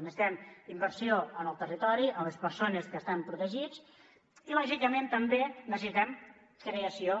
necessitem inversió en el territori en les persones que estan protegits i lògicament també necessitem creació